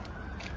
Yola boş qoy.